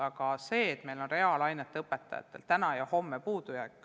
Aga meil on reaalainete õpetajaid puudu täna ja ka homme.